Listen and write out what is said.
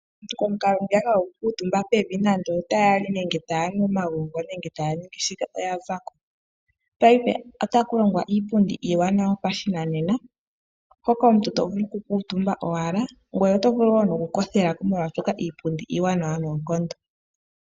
Komukalo ngwiya aantu haya kuutumba pevi ngele ta ya li nenge taya nu omagongo aantu oya zako. Paife otakulongwa iipundi iiwanawa yo pashinanena hoka omuntu tovulu oku kuutumba owala ngweye otovulu woo nokukothelako moshaashoka iipundi iiwanawa noonkondo.